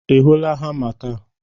Ị hụla hama taa?